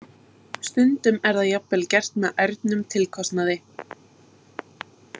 Stundum er það jafnvel gert með ærnum tilkostnaði.